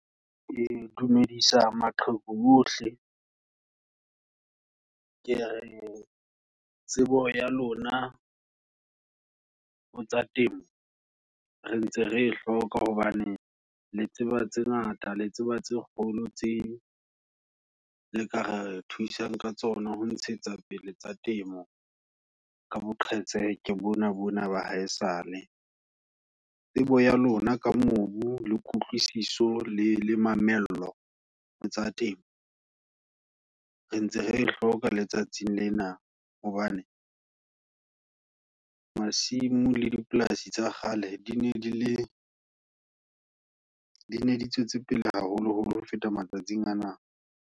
Ke dumedisa, maqheku ohle, ke re tsebo ya lona ho tsa temo, re ntse re hloka hobane, le tseba tse ngata, le tseba tse kgolo, tse le ka re thusang, ka tsona ho ntshetsa pele tsa temo. Ka boqhetseke bona bona, ba haesale, tsebo ya lona ka mobu, le kutlwisiso, le le mamello, hotsa temo. Re ntse re hloka letsatsing lena, hobane masimo le dipolasi tsa kgale, di ne dile, dine di tswetse pele haholo holo ho feta matsatsing ana.